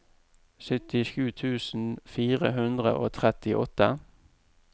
syttisju tusen fire hundre og trettiåtte